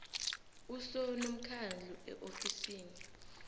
uso nomkhandlu eofisini